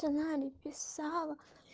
сама написала